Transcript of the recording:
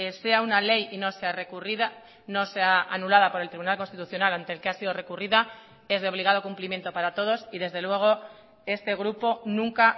sea una ley y no sea recurrida no sea anulada por el tribunal constitucional ante el que ha sido recurrida es de obligado cumplimiento para todos y desde luego este grupo nunca